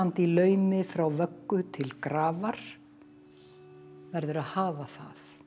í laumi frá vöggu til grafar verður að hafa það